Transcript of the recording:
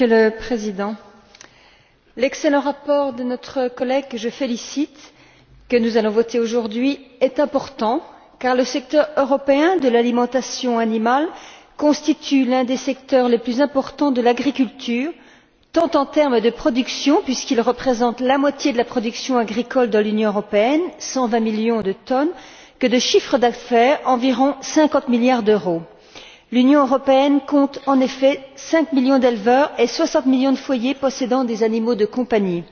Monsieur le Président, l'excellent rapport de notre collègue, que je félicite, que nous allons voter aujourd'hui, est important car le secteur européen de l'alimentation animale constitue l'un des principaux secteurs de l'agriculture, tant en termes de production, puisqu'il représente la moitié de la production agricole dans l'Union européenne 120 millions de tonnes que de chiffre d'affaires environ 50 milliards d'euros. L'Union européenne compte, en effet, 5 millions d'éleveurs et 60 millions de foyers possédant des animaux de compagnie.